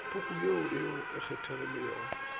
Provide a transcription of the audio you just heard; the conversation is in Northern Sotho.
pukung ye o e kgethilego